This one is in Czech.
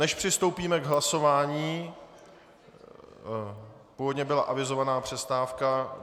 Než přistoupíme k hlasování - původně byla avizována přestávka.